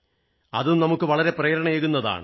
അതും നമുക്ക് വളരെ പ്രേരണയേകുന്നതാണ്